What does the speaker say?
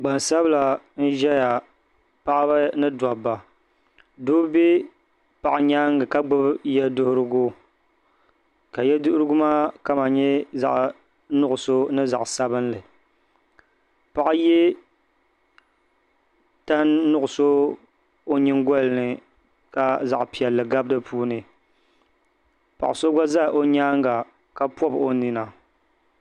Gbansabila n ʒɛya paɣaba ni dabba doo ʒɛ paɣa nyaanga ka gbubi yɛ duɣurigu ka yɛ duɣurigu maa kama nyɛ zaɣ nuɣso ni zaɣ sabinli paɣa yɛ tan nuɣso o nyingoli ni ka zaɣ piɛlli gabi di puuni paɣa so gba ʒɛ o nyaanga ka pobi o nina